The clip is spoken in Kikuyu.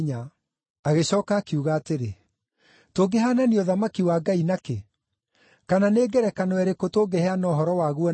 Agĩcooka akiuga atĩrĩ, “Tũngĩhaanania ũthamaki wa Ngai na kĩ? Kana nĩ ngerekano ĩrĩkũ tũngĩheana ũhoro waguo nayo?